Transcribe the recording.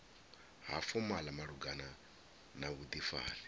ha fomala malugana na vhudifari